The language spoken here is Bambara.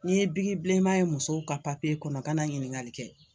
N'i ye bigi bileman ye musow ka kɔnɔ kana ɲiniŋali kɛ